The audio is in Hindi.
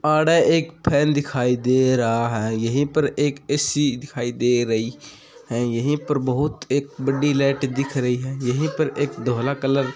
आड़ एक फैन दिखाई दे रहा है यही पर एक एसी भी दिखाई दे रही है यही पर बहुत एक बड़ी लाइट दिख रही है यहां पर धोल कलर --